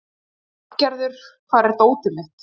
Arngerður, hvar er dótið mitt?